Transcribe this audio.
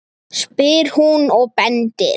spyr hún og bendir.